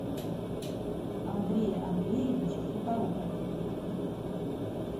андрее андреевиче сухорукове